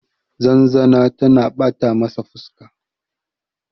zanzana tana bata masa fuska